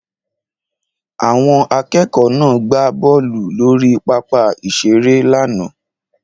Àwọn akẹ́kọ̀ọ́ náà gbá bọ́ọ̀lù lórí pápá ìṣeré lánàá